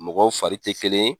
Mɔgɔw fari tɛ kelen ye.